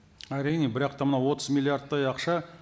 әрине бірақ та мынау отыз миллиардтай ақша